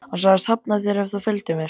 Hann sagðist hafna þér ef þú fylgdir mér.